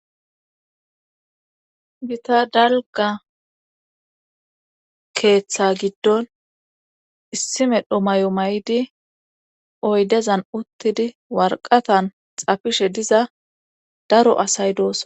gita dalga keeththa giddon issimedhomay7o may7di oydezan uttidi warqatan xafishe diza daro asay doossa